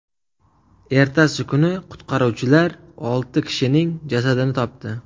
Ertasi kuni qutqaruvchilar olti kishining jasadini topdi.